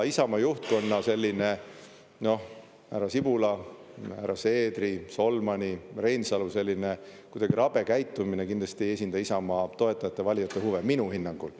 Isamaa juhtkonna, härra Sibula, härra Seedri, Solmani, Reinsalu selline kuidagi rabe käitumine kindlasti ei esinda Isamaa toetajate-valijate huve minu hinnangul.